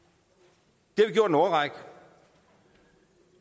det i en årrække